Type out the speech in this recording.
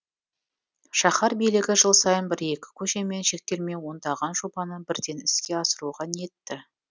шаһар билігі жыл сайын бір екі көшемен шектелмей ондаған жобаны бірден іске асыруға ниетті